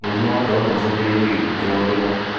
Mũrimũ wa ngoro noũcũngĩrĩrie gĩkuo kĩa orĩmwe